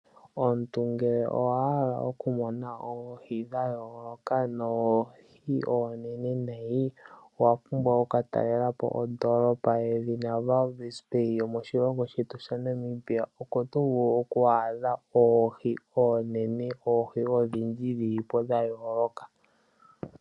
Omuntu ngele owahala okumona oohi dha yooloka noohi oonene nayi, owapumbwa oku katalelapo ondoolopa yedhina Walvis Bay yili moshilongo shetu oko tovulu oku adha oohi oonene odhindji dhilipo dha yooloka